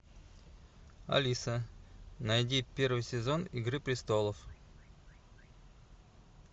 алиса найди первый сезон игры престолов